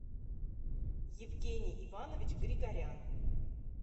евгений иванович григорян